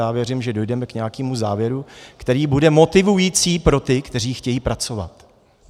Já věřím, že dojdeme k nějakému závěru, který bude motivující pro ty, kteří chtějí pracovat.